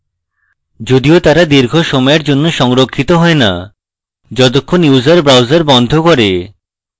যদিও তারা দীর্ঘ সময়ের জন্য সংরক্ষিত হয় নাযতক্ষণ user browser বন্ধ করে